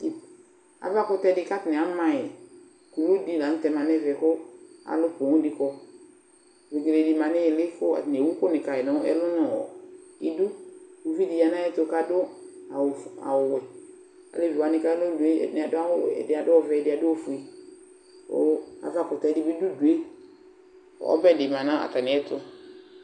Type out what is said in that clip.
Aʋakutɛ di katani amayi, ku uwui dila ŋtɛ ma nɛ ɛʋɛ ku alukumdikɔ Uduné di manu ili kɔ atani wu uku ni kayi nu ɛlu nɔ idu Uʋidi yanu ayɛru ka du awu wɛ Aleci wani ka dué ɛdini adu awu wɛ, ɛdia du oʋɛ, ɛdi adu ofʊé, ava kutɛ dibi du ʊdué, ɔbɛ di manu atamiɛ tu